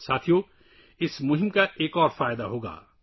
دوستو اس مہم کا ایک اور فائدہ بھی ہوگا